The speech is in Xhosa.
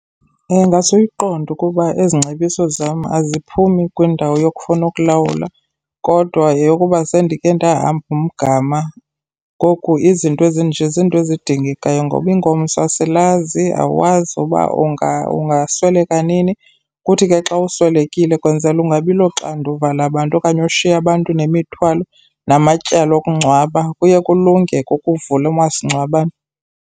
Ingase uyiqonde ukuba ezi ngcebiso zam aziphumi kwindawo yokufuna ukulawula, kodwa yeyokuba sendikhe ndahamba umgama. Ngoku izinto ezinje zinto ezidingekayo ngoba ingomso asilazi, awazi uba ungasweleka nini. Kuthi ke xa uswelekile kwenzele ungabi loxanduva labantu okanye ushiye abantu nemithwalo namatyala okungcwaba, kuye kulunge ke ukuvula umasingcwabane.